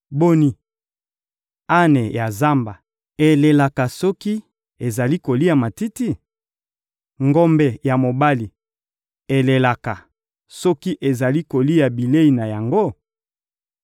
Boni, ane ya zamba elelaka soki ezali kolia matiti? Ngombe ya mobali elelaka soki ezali kolia bilei na yango?